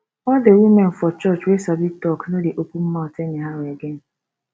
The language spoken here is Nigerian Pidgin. all the women for church wey sabi talk no dey open mouth anyhow again